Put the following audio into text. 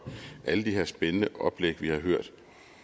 alle de her spændende oplæg vi har hørt